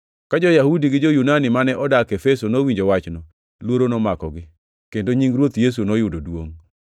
Ka jo-Yahudi gi jo-Yunani mane odak Efeso nowinjo wachno luoro nomakogi, kendo nying Ruoth Yesu noyudo duongʼ.